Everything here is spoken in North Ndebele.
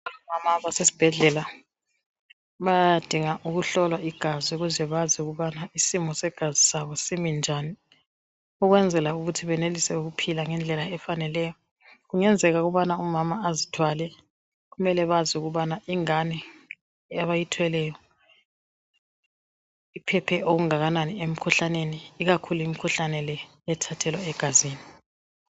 Omama abasesibhedlela, bayadinga ukuhlolwa igazi ukuze bazi ukubana isimo segazi sabo siminjani ukwenzela ukuthi benelise ukuphila ngendlela efaneleyo. Kungenzeka ukubana umama azithwale mele bazi ukubana ingane abayithweleyo iphephe okunganani emkhuhlaneni ikakhulu imikhuhlane le ethathelwa egazini